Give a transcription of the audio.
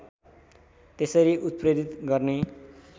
त्यसरी उत्प्रेरित गर्ने